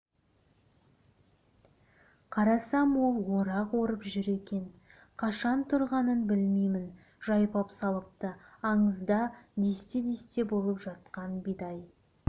қарасам ол орақ орып жүр екен қашан тұрғанын білмеймін жайпап салыпты аңызда десте-десте болып жатқан бидай